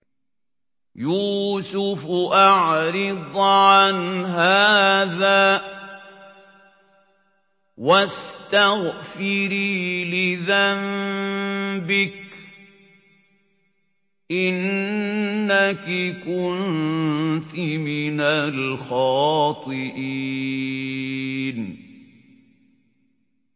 يُوسُفُ أَعْرِضْ عَنْ هَٰذَا ۚ وَاسْتَغْفِرِي لِذَنبِكِ ۖ إِنَّكِ كُنتِ مِنَ الْخَاطِئِينَ